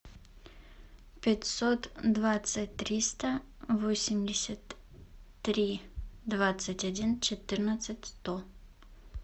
пятьсот двадцать триста восемьдесят три двадцать один четырнадцать сто